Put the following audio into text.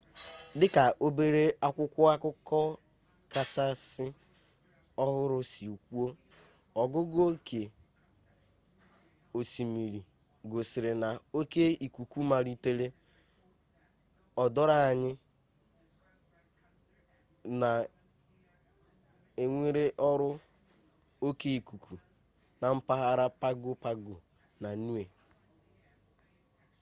dika obere akwụkwọ akụkọ kachasị ohuru si kwuo ogugu oke osimiri gosiri na oke ikuku malitere o doro anya na enwere oru oke ikuku na mpaghara pago pago na niue